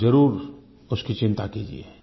आप ज़रूर उसकी चिंता कीजिए